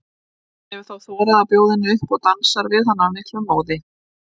Hann hefur þá þorað að bjóða henni upp og dansar við hana af miklum móði.